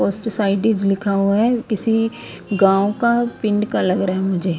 और सोसाइटी भी लिखा हुआ है किसी गांव का पिंड का लग रहा है मुझे।